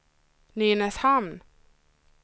Nynäshamn